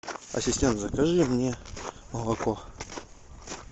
ассистент закажи мне молоко